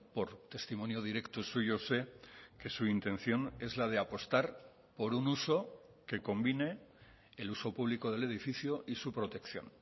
por testimonio directo suyo sé que su intención es la de apostar por un uso que convine el uso público del edificio y su protección